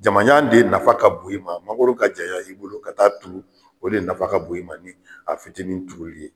Jamajan de nafa ka bon i ma mangoro ka janya i bolo ka taa turu o de nafa ka bon i ma nin a fitinin turuli ye.